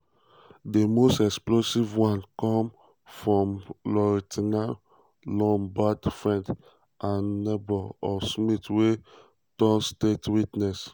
di most explosive um one come from lourentia lombaard friend and neighbour of smith wey um turn state witness.